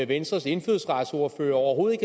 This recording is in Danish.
venstres indfødsretsordfører overhovedet